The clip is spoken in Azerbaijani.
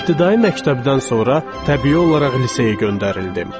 İbtidai məktəbdən sonra təbii olaraq liseyə göndərildim.